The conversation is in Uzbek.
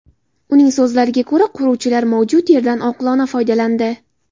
Uning so‘zlariga ko‘ra, quruvchilar mavjud yerdan oqilona foydalandi.